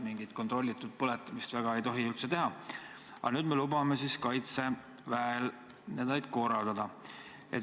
Mingit ka kontrollitud põletamist ei tohi peaaegu üldse teha, aga nüüd lubame siis Kaitseväel neid korraldada.